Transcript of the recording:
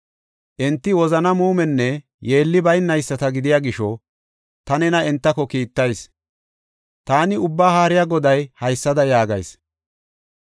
Enti wozana muumenne yeelli baynayisata gidiya gisho, ta nena entako kiittayis. Taani, Ubbaa Haariya Goday haysada yaagayis.